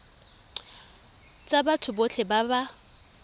tsa batho botlhe ba ba